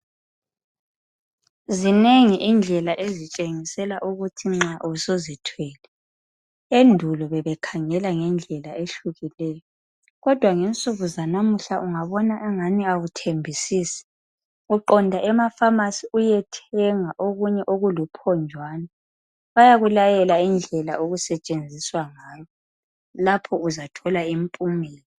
Zinengi indlela ezitshengisela ukuthi usuzithwele. Endulo bebekhangela ngendlela ehlukeneyo kodwa ngensuku zanamuhla ungabona engani awulaqiniso uqonda emafamasi uyethenga okunye okuluphonjwana. Bayakulayela indlela okusetshenziswa ngayo lapho uzathola imiphumela.